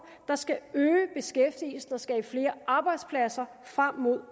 der skal øge beskæftigelsen og skabe flere arbejdspladser frem mod